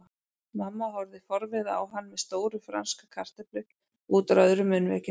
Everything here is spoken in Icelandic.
Mamma horfði forviða á hann með stóra franska kartöflu útúr öðru munnvikinu.